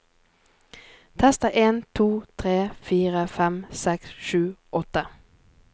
Tester en to tre fire fem seks sju åtte